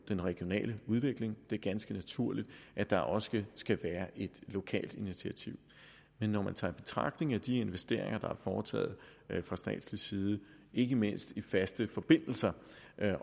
den regionale udvikling det er ganske naturligt at der også skal være et lokalt initiativ men når man tager i betragtning at de investeringer der er foretaget fra statslig side ikke mindst i faste forbindelser